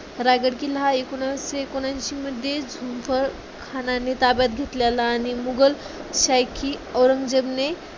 रायगड किल्ला हा एकोणविसशे एकोणऐंशीमध्ये झुल्फिकार खानाने ताब्यात घेतलेला आणि मुघलशाही की औरंगजेबने